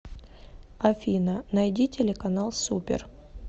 афина найди телеканал супер